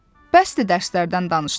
Bəsdir dərslərdən danışdıq.